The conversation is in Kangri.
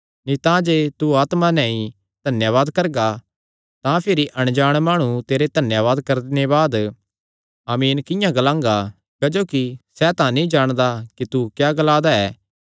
नीं तांजे तू आत्मा नैं ई धन्यावाद करगा तां भिरी अणजाण माणु तेरे धन्यावाद करणे बाद आमीन किंआं ग्लांगा क्जोकि सैह़ तां नीं जाणदा कि तू क्या ग्ला दा ऐ